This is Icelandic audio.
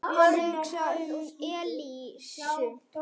Hann hugsaði um Elísu.